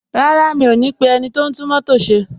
Rárá, mi ò ní pe ẹniti o n tún mótò ṣe.